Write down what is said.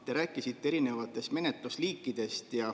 Te rääkisite erinevatest menetlusliikidest.